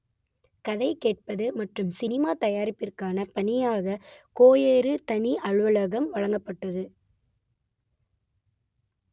கதை கேட்பது மற்றும் சினிமா தயாரிப்பிற்கான பணிக்கான கேயாருக்கு தனி அலுவலகம் வழங்கப்பட்டது